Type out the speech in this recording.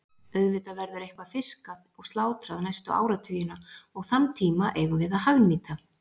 Auðvitað verður eitthvað fiskað og slátrað næstu áratugina og þann tíma eigum við að hagnýta.